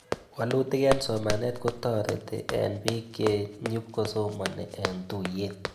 Walutik eng' somanet kotareti eng'pik che nyipkosomani eng'tuyet